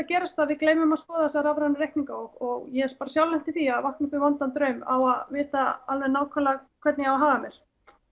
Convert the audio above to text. gerast að við gleymum að skoða þessa rafrænu reikninga og ég hef sjálf lent í því að vakna upp við vondan draum á að vita alveg nákvæmlega hvernig ég á að haga mér